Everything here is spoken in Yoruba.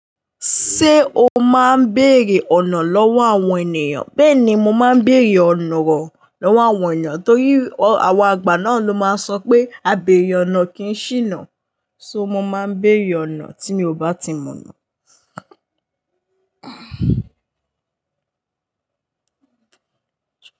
Ṣé o máa ń béèrè ọ̀nà lọ́wọ́ àwọn ènìyàn? Bẹ́ẹ̀ ni, mo máa ń béèrè ọ̀nà lọ́wọ́ àwọn ènìyàn torí àwọn àgbà náà ló máa ń sọ pé "Àbeèrè ọ̀nà kì í ṣìnà". So mo máa ń béèrè ọ̀nà tí mi ò bá ti mọ̀ ọ́na.